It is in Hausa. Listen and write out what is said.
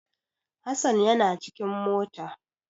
Hasan yana cikin mota.